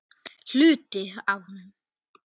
Hluti af honum.